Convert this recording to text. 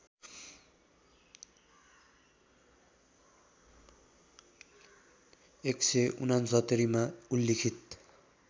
१६९मा उल्लिखित